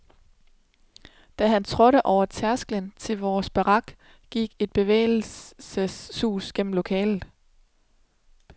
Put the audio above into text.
Da han trådte over tærsklen til vores barak, gik et bevægelsens sus gennem lokalet.